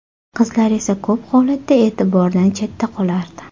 Qizlar esa ko‘p holatda e’tibordan chetda qolardi.